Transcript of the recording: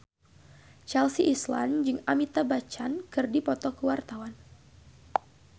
Chelsea Islan jeung Amitabh Bachchan keur dipoto ku wartawan